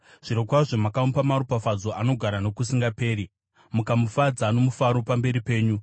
Zvirokwazvo makamupa maropafadzo anogara nokusingaperi, mukamufadza nomufaro pamberi penyu.